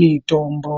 mitombo.